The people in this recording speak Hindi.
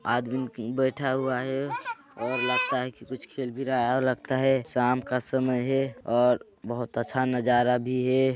आदमी बैठा हुआ हे और लगता हे कुछ खेल भी रहा हे और लगता हे शाम का समय हे और बहुत अच्छा नजारा भी हे।